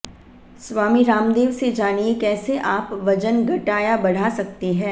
स्वामी रामदेव से जानिए कैसे आप वजन घटा या बढ़ा सकते हैं